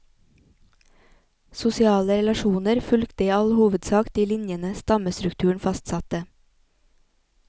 Sosiale relasjoner fulgte i all hovedsak de linjene stammestrukturen fastsatte.